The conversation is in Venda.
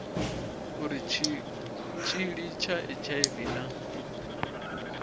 uri tshitshili tsha hiv na